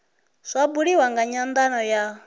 zwa buliwa nga nyandano ya